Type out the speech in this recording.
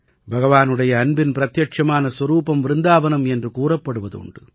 பகவானுடைய அன்பின் பிரத்யட்சமான சொரூபம் விருந்தாவனம் என்று கூறப்படுவது உண்டு